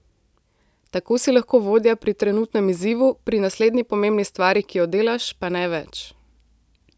Tako si lahko vodja pri trenutnem izzivu, pri naslednji pomembni stvari, ki jo delaš, pa ne več.